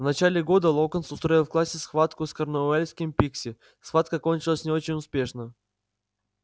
в начале года локонс устроил в классе схватку с корнуэльским пикси схватка кончилась не очень успешно